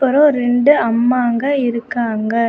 அப்புறம் ரெண்டு அம்மா அங்க இருக்காங்க.